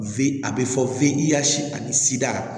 Fe a be fɔ fe i yaasi ani sida